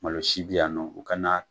Malo si bi yan nɔ u kana